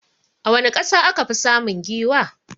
A wani ƙasa akafi samun giwa?